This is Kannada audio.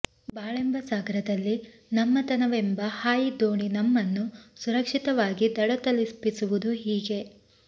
ಬಾಳೆಂಬ ಸಾಗರದಲ್ಲಿ ನಮ್ಮತನವೆಂಬ ಹಾಯಿದೋಣಿ ನಮ್ಮನ್ನು ಸುರಕ್ಷಿತವಾಗಿ ದಡ ತಲುಪಿಸುವುದು ಹೀಗೆ